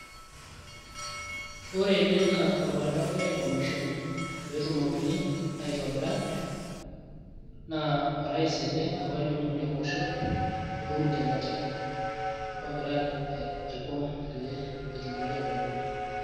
ore ene naa olbaribara egiray aicommision pee etumokini aitobira naa orais ele apa liong'uan lele osho Uhuru kenyata ogira aiko pee etumoki atabolo.